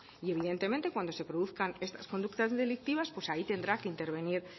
y evidentemente cuando se produzcan estas conductas delictivas pues ahí tendrá que intervenir